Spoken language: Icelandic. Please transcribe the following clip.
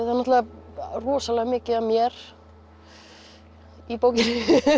er náttúrulega rosalega mikið af mér í bókinni